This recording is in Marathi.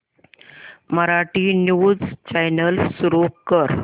मराठी न्यूज चॅनल सुरू कर